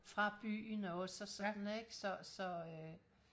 fra byen også og sådan ikke så så øh